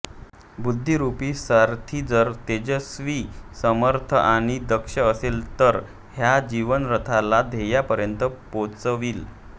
बुद्धिरूपी सारथी जर तेजस्वी समर्थ आणि दक्ष असेल तरच ह्या जीवनरथाला ध्येयापर्यंत पोचवील